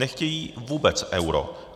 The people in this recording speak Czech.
Nechtějí vůbec euro.